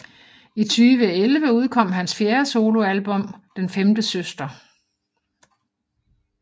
I 2011 udkom hans fjerde soloalbum Den Femte Søster